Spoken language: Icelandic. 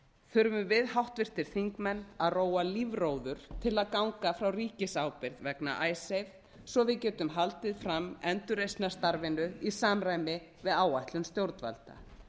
þurfum við háttvirtir þingmenn að róa lífróður til að ganga frá ríkisábyrgð vegna icesave svo við getum haldið fram endurreisnarstarfinu í samræmi við áætlun stjórnvalda